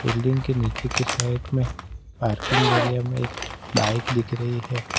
Building के नीचे के साइड में पार्किंग एरिया में एक बाइक दिख रही है।